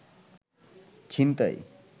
ছিনতাই